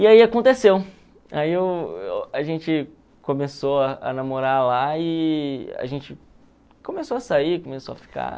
E aí aconteceu, aí eu a gente começou a namorar lá e a gente começou a sair, começou a ficar.